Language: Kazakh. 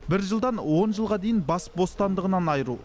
бір жылдан он жылға дейін бас бостандығынан айыру